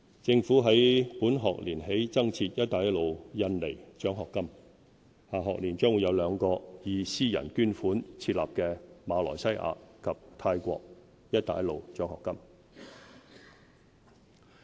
政府於本學年起增設"一帶一路印尼獎學金"，下學年將會有兩個以私人捐款設立的馬來西亞及泰國"一帶一路"獎學金。